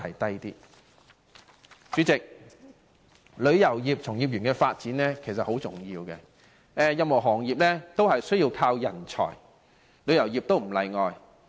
主席，旅遊業從業員人力資源的發展十分重要，任何行業均需要人才，旅遊業亦不例外。